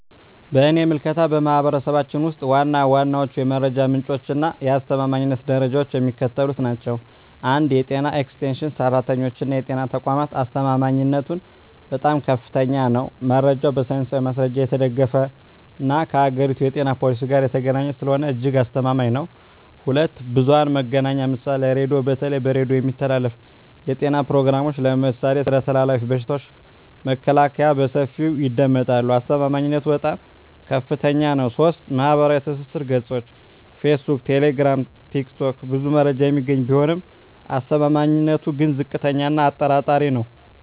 በእኔ ምልከታ፣ በማኅበረሰባችን ውስጥ ዋና ዋናዎቹ የመረጃ ምንጮችና የአስተማማኝነት ደረጃቸው የሚከተሉት ናቸው፦ 1. የጤና ኤክስቴንሽን ሠራተኞችና የጤና ተቋማት አስተማማኝነቱም በጣም ከፍተኛ ነው። መረጃው በሳይንሳዊ ማስረጃ የተደገፈና ከአገሪቱ የጤና ፖሊሲ ጋር የተገናኘ ስለሆነ እጅግ አስተማማኝ ነው። 2. ብዙኃን መገናኛ ምሳሌ ራዲዮ:- በተለይ በሬዲዮ የሚተላለፉ የጤና ፕሮግራሞች (ለምሳሌ ስለ ተላላፊ በሽታዎች መከላከያ) በሰፊው ይደመጣሉ። አስተማማኝነቱም በጣም ከፍታኛ ነው። 3. ማኅበራዊ ትስስር ገጾች (ፌስቡክ፣ ቴሌግራም፣ ቲክቶክ) ብዙ መረጃ የሚገኝ ቢሆንም አስተማማኝነቱ ግን ዝቅተኛ እና አጠራጣሪ ነው።